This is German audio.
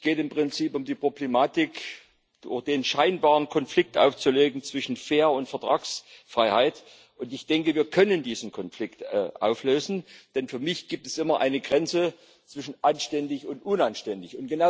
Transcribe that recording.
Es geht im Prinzip um die Problematik, den scheinbaren Konflikt aufzulösen zwischen fair und Vertragsfreiheit, und ich denke, wir können diesen Konflikt auflösen, denn für mich gibt es immer eine Grenze zwischen anständig und unanständig.